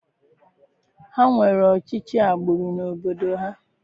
Ha nwere ọchịchị agbụrụ n'obodo ha.